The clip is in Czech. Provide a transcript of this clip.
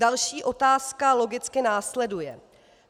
Další otázka logicky následuje.